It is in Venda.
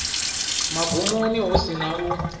magumoni hu si na u